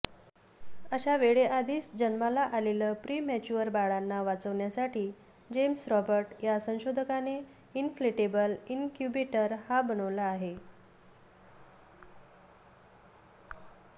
अशा वेळेआधीच जन्माला आलेल प्रीमॅच्युअर बाळांना वाचवण्यासाठी जेम्स रॉबर्ट या संशोधकाने इनफ्लेटेबल इनक्युबेटर बनवला आहे